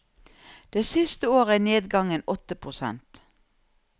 Det siste året er nedgangen åtte prosent.